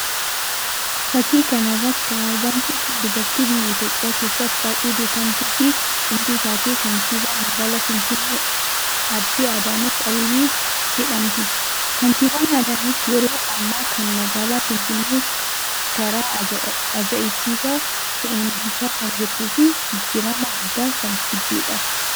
Fakii kana irratti kan argamtu kun dubartii biyya Itoophiyaa keessatti baay'ee beekkamtuu fi cimtuu taate kantibaa magaalaa Finfinnee Aadde Adaanach Abeebee jedhamti. Kaantibaan Adaanach yeroo ammaa kana magaalaa finfinnee karaa aja'ibsiisaa ta'een bulchaa kan jirtuu fi jijjirrama guddaa kan fiddedha.